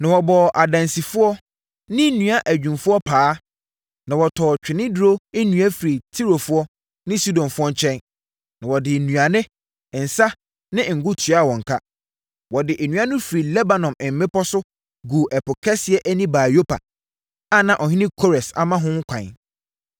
Na wɔbɔɔ adansifoɔ ne nnua adwumfoɔ paa na wɔtɔɔ ntweneduro nnua firi Tirofoɔ ne Sidonfoɔ nkyɛn, na wɔde nnuane, nsã ne ngo tuaa wɔn ka. Wɔde nnua no firi Lebanon mmepɔ so guu Ɛpo Kɛseɛ ani baa Yopa, a na ɔhene Kores ama ho ɛkwan.